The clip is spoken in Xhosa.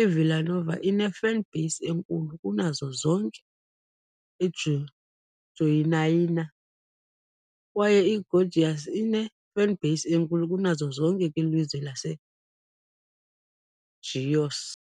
i-Vila Nova ine-fanbase enkulu kunazo zonke e-Goiânia, kwaye i-Goiás ine-fanbase enkulu kunazo zonke kwilizwe laseGoiás.